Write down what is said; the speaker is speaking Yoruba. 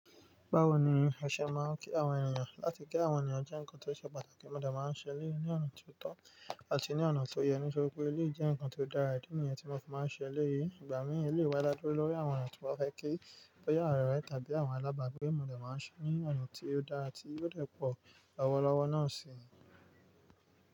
Báwo ni ẹ̀ṣẹ̀ máa ń kí àwọn ènìyàn, láti ki àwọn ènìyàn jẹ́ nǹkan tó ṣe pàtàkì mọ̀ dẹ máa ń ṣe eléyìí ní ọ̀nà ti o tọ́ àti ní ọ̀nà tó yẹ. Ní ṣe wipé eléyìí jẹ́ nǹkan tó dára, ìdí nìyẹn tí a mo fi máa ń ṣe eléyìí. Ìgbà mìíràn eléyìí dá dúró lórí àwọn èèyàn tí mo ba fẹ́ kí bòyà àwọn ọ̀rẹ́ tàbí àwọn alábàágbé mo dẹ máa ń ṣe ní ọ̀nà tí ó dára tí yóò dẹ́ẹ̀pọ̀ lọ́wọ́lọ́wọ́ náà si.